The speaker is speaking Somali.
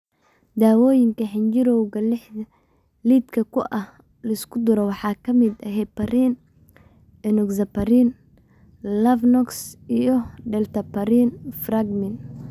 Daawooyinka xinjirowga lidka ku ah la isku duro waxaa ka mid ah heparin, enoxaparin (Lovenox), iyo dalteparin (Fragmin).